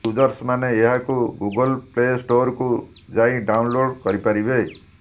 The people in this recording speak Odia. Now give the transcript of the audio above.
ୟୁଜର୍ସ ମାନେ ଏହାକୁ ଗୁଗଲ ପ୍ଲେ ଷ୍ଟୋରକୁ ଯାଇ ଡାଉନଲୋଡ଼ କରିପାରିବେ